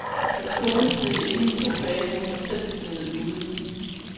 Hans kone sneede inde i to dage, mens han selv sneede ude.